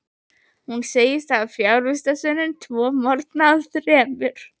Hún segist hafa fjarvistarsönnun tvo morgna af þremur.